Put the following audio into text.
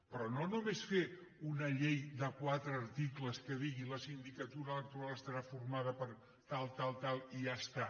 però no només fer una llei de quatre articles que digui la sindicatura electoral estarà formada per tal tal tal i ja està